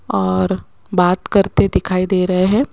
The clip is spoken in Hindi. और बात करते दिखाई दे रहे हैं।